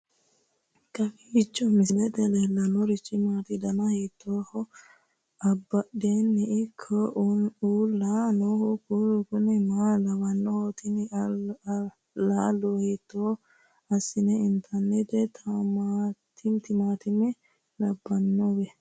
kowiicho misilete leellanorichi maati ? dana hiittooho ?abadhhenni ikko uulla noohu kuulu kuni maa lawannoho? tini laalo hiitto assine intannite timaatime labbannowe